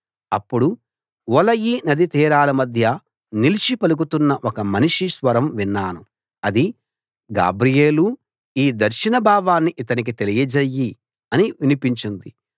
అప్పుడు ఊలయి నదీతీరాల మధ్య నిలిచి పలుకుతున్న ఒక మనిషి స్వరం విన్నాను అది గాబ్రియేలూ ఈ దర్శనభావాన్ని ఇతనికి తెలియజెయ్యి అని వినిపించింది